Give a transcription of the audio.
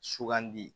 Sugandi